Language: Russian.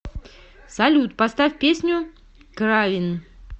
салют поставь песню кравин